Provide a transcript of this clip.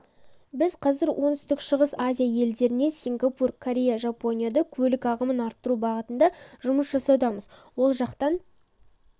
біз қазір оңтүстік-шығыс азия елдерінен сингапур корея жапониядан көлік ағымын арттыру бағытында жұмыс жасаудамыз ол жақтан